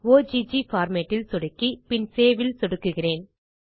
okay format ல் சொடுக்கி பின் சேவ் ல் சொடுக்குகிறேன்